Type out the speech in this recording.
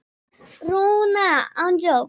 Mér finnst lagið falskt.